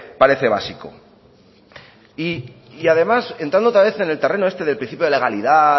parece básico y además entrando otra vez en el terreno este de principio de legalidad